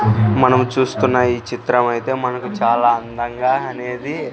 మనం చూస్తున్నా ఈ చిత్రమైతే మనకు చాలా అందంగా అనేది--